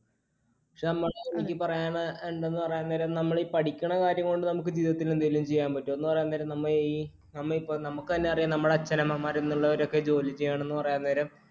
പക്ഷെ എനിക്ക് പറയാനുണ്ടെന്ന് പറയാൻ നേരം നമ്മൾ ഈ പഠിക്കണ കാര്യം കൊണ്ട് നമുക്ക് ജീവിതത്തിൽ എന്തെങ്കിലും ചെയ്യാൻ പറ്റുവോ എന്ന് പറയാൻ നേരം നമ്മ ഈ നമുക്ക് തന്നെയറിയാം നമ്മുടെ അച്ഛനമ്മമാർ ജോലി ചെയ്യണെന്നു പറയാൻ നേരം